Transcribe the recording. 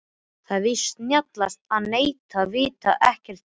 Það er víst snjallast að neita, vita ekkert, þegja.